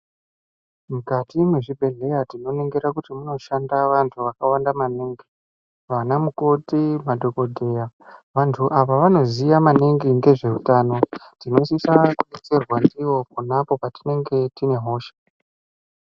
Mukati mwezvibhehleya tinoningira kuti munoshanda vantu vakawanda maningi, vanamukoti, madhogodheya. Vantu ava vanoziya maningi ngezveutano, tinosisa kudetserwa ndivo pona apo patinenge tine hosha.